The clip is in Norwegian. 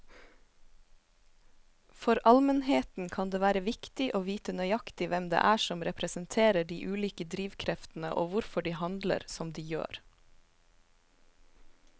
For allmennheten kan det være viktig å vite nøyaktig hvem det er som representerer de ulike drivkreftene og hvorfor de handler som de gjør.